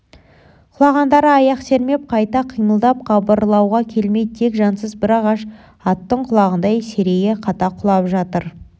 құлағандары аяқ сермеп қайта қимылдап қыбырлауға келмей тек жансыз бір ағаш аттың құлағанындай серейе қата құлап жатыр